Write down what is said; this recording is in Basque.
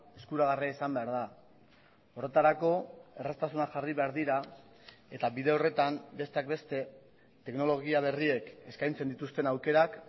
eskuragarria izan behar da horretarako erraztasunak jarri behar dira eta bide horretan besteak beste teknologia berriek eskaintzen dituzten aukerak